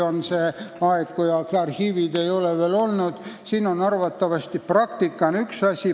Siin on üks asi arvatavasti praktika.